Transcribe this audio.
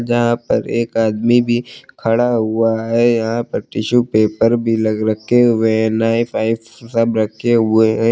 यहां पर एक आदमी भी खड़ा हुआ है यहां पर टिशू पेपर भी लग रखे हुए हैं नाइफ आईफ सब रखे हुए हैं।